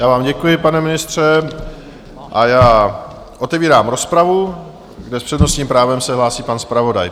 Já vám děkuji, pane ministře, a já otevírám rozpravu, kde s přednostním právem se hlásí pan zpravodaj.